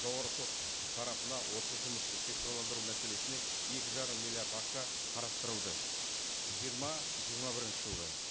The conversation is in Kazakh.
жоғарғы сот тарапына осы жұмысты цифрландыру мәселесіне екі жарым миллиард ақша қарастырылды жиырма жиырма бірінші жылға